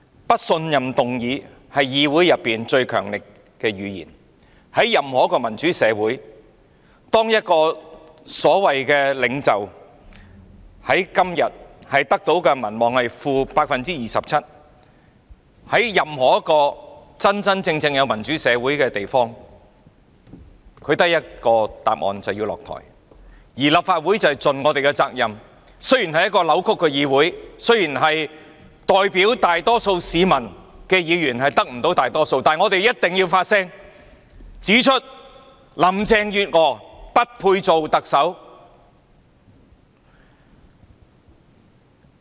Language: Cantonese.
不信任議案是議會最強力的語言，在任何一個民主社會，在任何一個真真正正有民主的地方，當一個所謂的領袖在今天的民望淨值是 -27% 時，他只有一個結果，便是下台，而立法會便要盡我們的責任，雖然這是一個扭曲的議會、雖然代表大多數市民的議員得不到大多數議席，但我們必須發聲，指出林鄭月娥不配做特首。